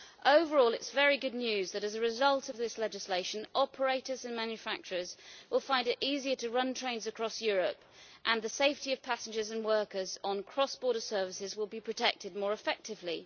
Overall it's very good news that, as a result of this legislation, operators and manufacturers will find it easier to run trains across Europe, and the safety of passengers and workers on cross border services will be protected more effectively.